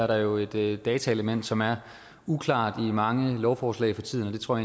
der jo et et dataelement som er uklart i mange lovforslag for tiden jeg tror